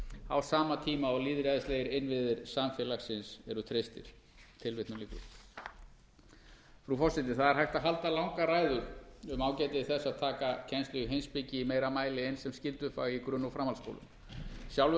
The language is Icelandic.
á sama tíma og lýðræðislegir innviðir samfélagsins eru treystir frú forseti það er hægt að fjalla langar ræður um ágæti þess að taka kennslu í heimspeki í meira mæli inn sem skyldufag í grunn og framhaldsskólum sjálfur hef